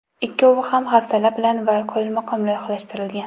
Ikkovi ham hafsala bilan va qoyilmaqom loyihalashtirilgan.